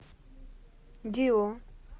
дио